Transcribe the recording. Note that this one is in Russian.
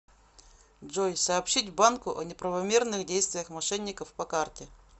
джой сообщить банку о неправомерных действиях мошенников по карте